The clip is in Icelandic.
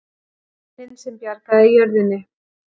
Bænin sem bjargaði jörðunni